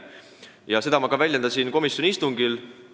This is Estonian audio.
Ja seda ma väljendasin ka komisjoni istungil.